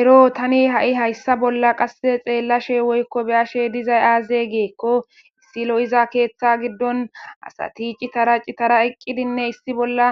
ero tani ha7i hayssa bolla qasse xeellashe woykko beyashe dizay aazegeekko issilo7iza keeththa giddon asa tiicitara citara eqqidinne issi bolla